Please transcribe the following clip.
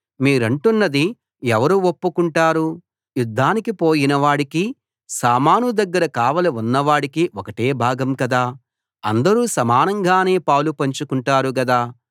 మీరంటున్నది ఎవరు ఒప్పుకుంటారు యుద్దానికి పోయినవాడికీ సామాను దగ్గర కావలి ఉన్న వాడికి ఒకటే భాగం కదా అందరూ సమానంగానే పాలు పంచుకుంటారు గదా